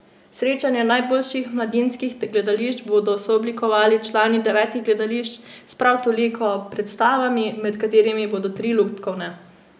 Srečanje najboljših mladinskih gledališč bodo sooblikovali člani devetih gledališč s prav toliko predstavami, med katerimi bodo tri lutkovne.